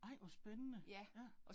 Nej, hvor spændende. Ja